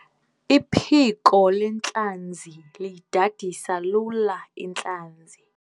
Iphiko lentlanzi liyidadisa lula intlanzi.